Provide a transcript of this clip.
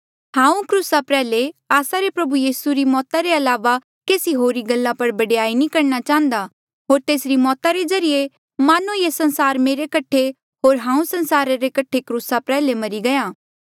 हांऊँ क्रूसा प्रयाल्हे आस्सा रे प्रभु यीसू री मौता रे अलावा केसी होरी गल्ला पर बडयाई नी करणा चाहंदा होर तेसरी मौता रे ज्रीए मानो ये संसार मेरे कठे होर हांऊँ संसारा रे कठे क्रूसा प्रयाल्हे मरी गया